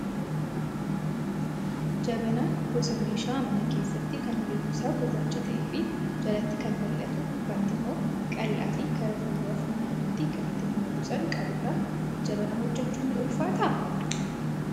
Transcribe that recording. Jabanaan gosa meeshaa mana keessaa kan halluun isaa gurraacha ta'ee fi jalatti kan bal'atu gubbaatti immoo qal'aa fi karaa fuulduraa funyaan ittiin buna buusan kan qabudha. Jabanaa hojjachuun ni ulfaataa?